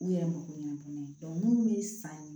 U yɛrɛ mako ɲɛnabɔ n'a ye minnu bɛ san